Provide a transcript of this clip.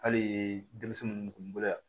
Hali denmisɛnnu kun bolo yan